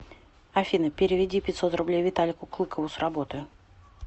афина переведи пятьсот рублей виталику клыкову с работы